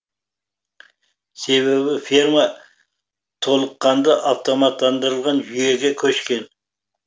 себебі ферма толыққанды автоматтандырылған жүйеге көшкен